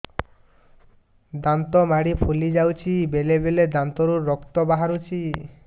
ଦାନ୍ତ ମାଢ଼ି ଫୁଲି ଯାଉଛି ବେଳେବେଳେ ଦାନ୍ତରୁ ରକ୍ତ ବାହାରୁଛି